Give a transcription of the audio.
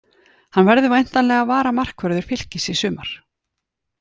Hann verður væntanlega varamarkvörður Fylkis í sumar.